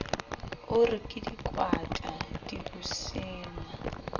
o re ke dikwata dibusenga